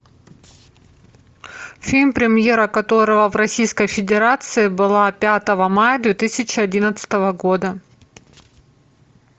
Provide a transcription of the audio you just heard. фильм премьера которого в российской федерации была пятого мая две тысячи одиннадцатого года